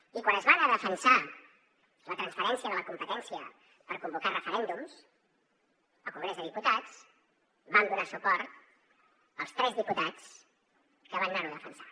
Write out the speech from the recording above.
i quan es va anar a defensar la transferència de la competència per convocar referèndums al congrés dels diputats vam donar suport als tres diputats que van anar ho a defensar